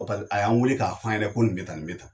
pal a y'an weele k'a f'an yɛrɛ ko nin bɛ tan nin bɛ tan.